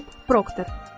Bob Prokdor.